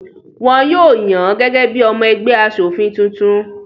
Wọn yóò yàn án gẹ́gẹ́ bí i ọmọ ẹgbẹ́ aṣòfin tuntun.